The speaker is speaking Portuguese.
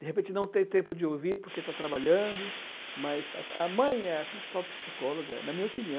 De repente não tem tempo de ouvir porque está trabalhando, mas a a mãe é a principal psicóloga, na minha opinião.